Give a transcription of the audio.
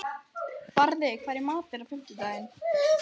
Barði, hvað er í matinn á fimmtudaginn?